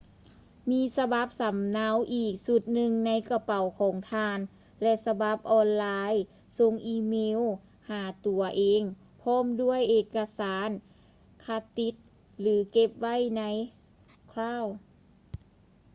ມີສະບັບສຳເນົາອີກຊຸດໜຶ່ງໃນກະເປົາຂອງທ່ານ ແລະ ສະບັບອອນໄລ ສົ່ງອີເມວຫາຕົວເອງພ້ອມດ້ວຍເອກະສານຄັດຕິດ ຫຼື ເກັບໄວ້ໃນ ຄຼາວ cloud”